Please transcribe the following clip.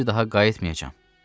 Bir daha qayıtmayacam.